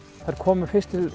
þær komu fyrst til